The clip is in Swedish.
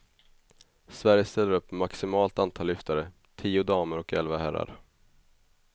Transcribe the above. Sverige ställer upp med maximalt antal lyftare, tio damer och elva herrar.